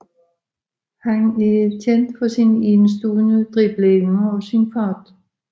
Han er kendt for sin enestående dribleevner og sin fart